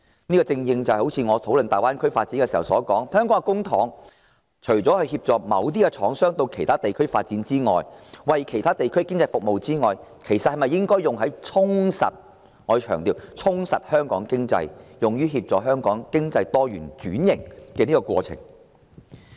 正如我剛才討論大灣區發展時所說，香港除了以公帑協助某些廠商到其他地區發展、為其他地區的經濟服務外，是否也應該把公帑用於充實——我強調——充實香港經濟，推動香港經濟多元化及轉型？